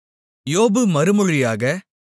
யோபு மறுமொழியாக